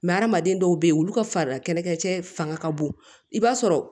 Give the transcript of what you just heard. hadamaden dɔw bɛ yen olu ka fari kɛlɛkɛ cɛ fanga ka bon i b'a sɔrɔ